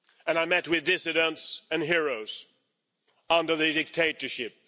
I met with dissidents and heroes under the dictatorship.